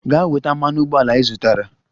Gaa weta mmanụ ụgbọala ị zụtara!